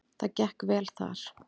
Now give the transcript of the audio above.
Það gekk vel þar.